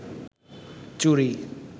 চুরি